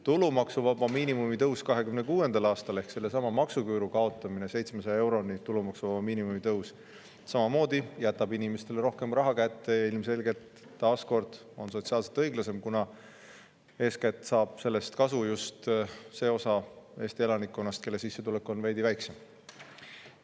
Tulumaksuvaba miinimumi tõus 2026. aastal ehk seesama maksuküüru kaotamine ja tulumaksuvaba miinimumi tõus 700 euroni jätab samamoodi inimestele rohkem raha kätte ja on ilmselgelt taas kord sotsiaalselt õiglasem, kuna sellest saab kasu eeskätt just see osa Eesti elanikkonnast, kelle sissetulekud on veidi väiksemad.